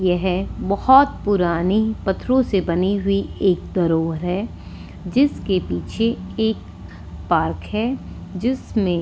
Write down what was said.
यह बहुत पुरानी पत्थरों से बनी हुई एक दरोहर है जिसके पीछे एक पार्क हैजिसमें--